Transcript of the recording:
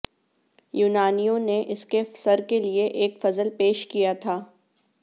یونانیوں نے اس کے سر کے لئے ایک فضل پیش کیا تھا